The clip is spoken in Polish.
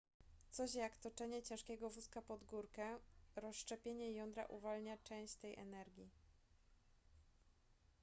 coś jak toczenie ciężkiego wózka pod górkę rozszczepienie jądra uwalnia część tej energii